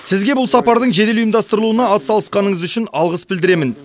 сізге бұл сапардың жедел ұйымдастырылуына атсалысқаныңыз үшін алғыс білдіремін